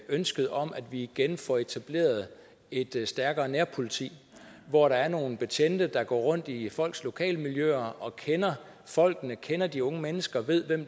ønsket om at vi igen får etableret et stærkere nærpoliti hvor der er nogle betjente der går rundt i folks lokalmiljøer og kender folkene kender de unge mennesker ved hvem